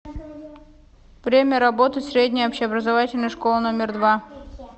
время работы средняя общеобразовательная школа номер два